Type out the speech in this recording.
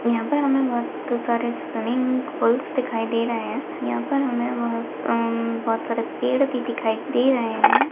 यहाँ पर हमे बहुत सारे स्विमिंग पूल्स दिखाई दे रहे है यहाँ पर हमे बहुत हम्म बहुत सारे पेड़ भी दिखाई दे रहे है।